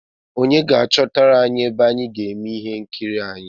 Onye ga-achọtara anyi ebe anyị ga-eme ihe nkiri anyị?